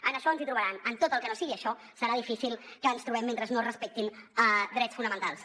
en això ens hi trobaran en tot el que no sigui això serà difícil que ens hi trobem mentre no es respectin drets fonamentals